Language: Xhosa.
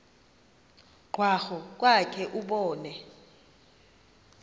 krwaqu kwakhe ubone